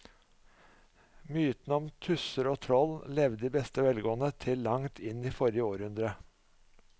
Mytene om tusser og troll levde i beste velgående til langt inn i forrige århundre.